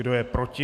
Kdo je proti?